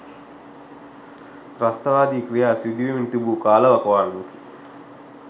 ත්‍රස්තවාදී ක්‍රියා සිදුවෙමින් තිබු කාල වකවානුවකි.